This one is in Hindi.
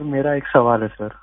सर मेरा एक सवाल है सर